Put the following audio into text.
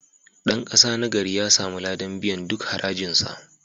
Dan kasa nagari ya samu ladan biyan duk harajinsa.